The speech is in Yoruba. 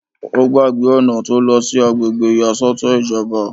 Ó gbàgbé ọ̀nà tó lọ sí àgbègbè ìyàsọ́tọ̀ ìjọba